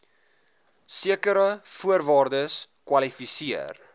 sekere voorwaardes kwalifiseer